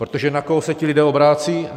Protože na koho se ti lidé obracejí?